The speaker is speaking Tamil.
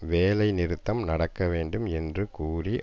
வேலை நிறுத்தம் நடக்க வேண்டும் என்று கூறி